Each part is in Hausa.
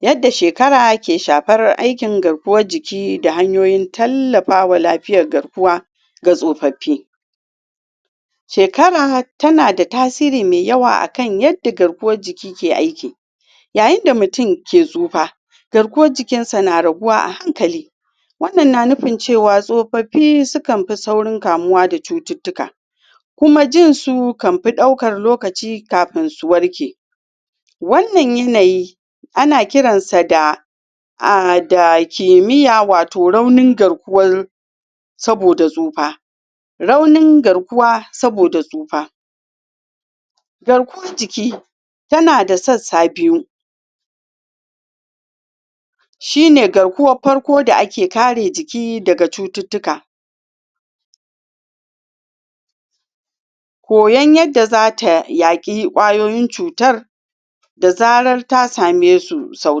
yadda shekara ke shafar aikin garkuwan jiki da hanyoyi tallafawa lafiyar garkuwa ga tsofafi shekara tana da tasiri mai yawa akan yadda garkuwan jiki ke aiki yayin da mutum ke tsufa garkuwan jikin sa na raguwa a hankali wannan na nufi cewa tsofofi su kan fi kamuwa da cututuka kuma jin su kan fi dauka lokaci kafin su warke wannan yanayi a na kiran sa da um da kemiya watau raunin garkuwan soboda tsufa raunin garkuwa soboda da tsufa garkuwan jiki ta na da sassa biyu shi ne garkuwan farko da ake kare jiki da ga cututuka koyon yadda zata ya ki kwayoyin cutar da zarar ta sa me su so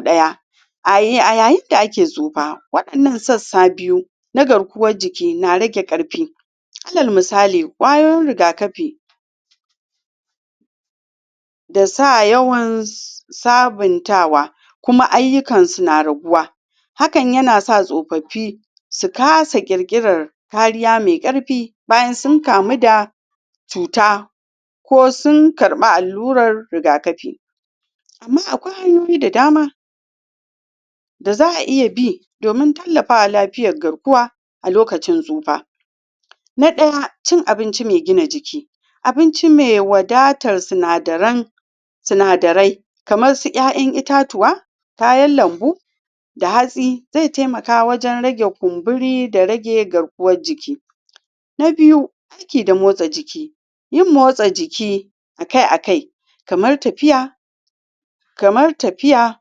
daya a yayin da ake tsufa wadannan sassa biyu nagarkuwan jiki na rage karfi alal misali kwayoyin rigakafi da sa yawan sabantawa kuma ayukan su na raguwa hakan ya na sa tsofafi sukasa kirkirar karya mai karfi bayan su kamu da cuta ko sun karba alurar rigakafi amma akwai hanyoyi da dama da za'a iya bi domin tallafawa lafiyan garkuwa a lokacin tsufa na daya cin abinci mai gina jiki abinci mai wadatar sinadirin sinadirai kamar duk 'ya'yan itatuwa, kayan lambu da hatsi zai taimaka wajen rage kumburi da rage garkuwan jiki na biyu aiki da motsa jiki yin motsa jiki akai akai kamar tafiya kamar tafiya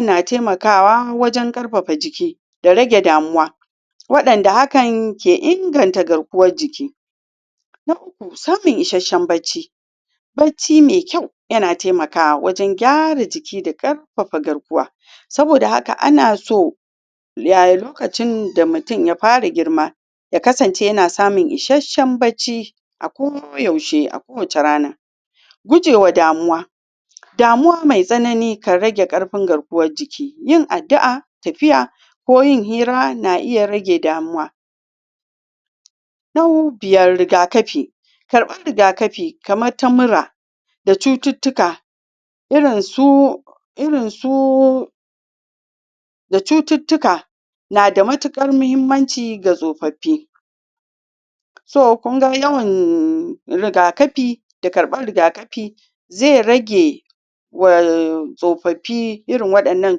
na taimakawa wajen karfafawa da rege damuwa wadanda hakan ke ingantan garkuwan jiki na uku samun isashan bacci bacci mai kyau yana taimakawa wajen gyara jiki da karfafa garkuwa soboda haka ana so ya lokacin da mutum ya fara girma yakasance yana samun isasan bacci a ko yaushe a kowace rana gujewa damuwa damuwa mai tsanani ke rage karfin garkuwan jikiyin addu'a, tafiya ko yin hira na iya rage damuwa na biyar, rigakafi karban rigakafi kamar ta mura da cucutuka irin su irin su da cucutuka na da matukar muhimmanci ga tsofofi so kun ga yawan rigakafi da karban rigakafi zai rage wa tsofafi irin wadannan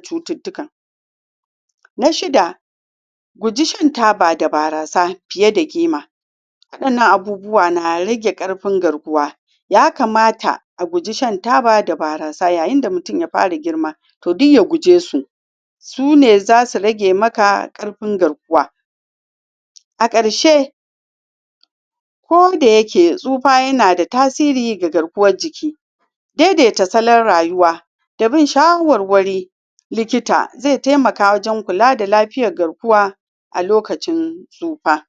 cututuka na shida guji shan taba da barasa fiye da ƙima wadannan abubuwa na rage karfin garkuwa ya kamata ya kamata a guji shan taba da barasa yayin da mutum ya fara girma toh duk ya guje su su ne zasu rage maka karfin garkuwa a karshe ko dayake tsufa yana da tasiri da garkuwan jiki daidaita salon rayuwa da bin shawarwari likita zai taimaka wajen kula da lafiyar garkuwa a lokacin tsufa